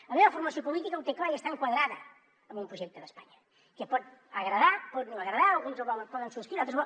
la meva formació política ho té clar i està enquadrada en un projecte d’espanya que pot agradar pot no agradar alguns el poden subscriure d’altres